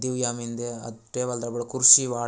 दिव्या मिन्दे टेबल दबड कुर्सी वॉट तडो --